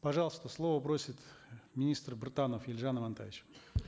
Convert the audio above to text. пожалуйста слово просит министр біртанов елжан амантаевич